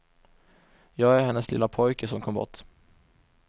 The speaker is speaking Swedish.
Jag är hennes lilla pojke som kom bort.